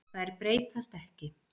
Þær breytast ekki.